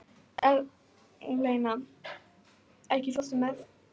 Eleina, ekki fórstu með þeim?